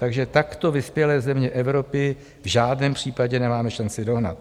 Takže takto vyspělé země Evropy v žádném případě nemáme šanci dohnat.